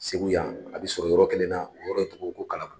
Segu yan a be sɔrɔ yɔrɔ kelen na yɔrɔ in tɔgɔ ko kala